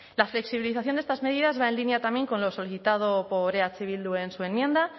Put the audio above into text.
la flexibilización de estas medidas va en línea también con lo solicitado por eh bildu en su enmienda